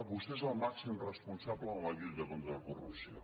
vostè és el màxim responsable en la lluita contra la corrupció